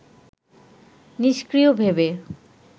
নিষ্ক্রিয় ভেবে